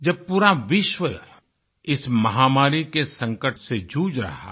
जब पूरा विश्व इस महामारी के संकट से जूझ रहा है